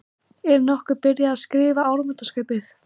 Er nokkuð byrjað að skrifa áramótaskaupið?